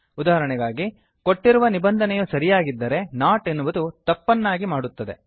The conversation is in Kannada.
ಉದಾಹರಣೆಗಾಗಿ ಕೊಟ್ಟಿರುವ ನಿಬಂಧನೆಯು ಸರಿಯಾಗಿದ್ದರೆ ನಾಟ್ ಎನ್ನುವುದು ತಪ್ಪನ್ನಾಗಿ ಮಾಡುತ್ತದೆ